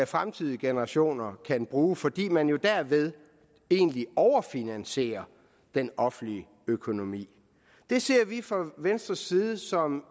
fremtidige generationer så kan bruge fordi man jo derved egentlig overfinansierer den offentlige økonomi det ser vi fra venstres side som